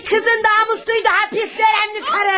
Demək qızın namusu idi hapiste önemli karı!